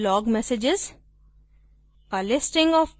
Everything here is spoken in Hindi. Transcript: recent log messages